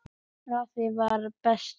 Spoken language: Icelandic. Afi var bestur.